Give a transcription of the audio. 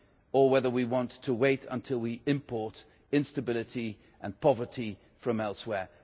or whether we want to wait until we import instability and poverty from elsewhere.